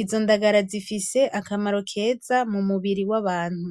izo ndagara zifise akamaro keza mumubiri w'abantu.